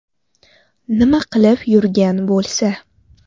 Nima qilib yurgan bo‘lsa?